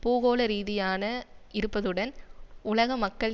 பூகோளரீதியானதான இருப்பதுடன் உலக மக்கள்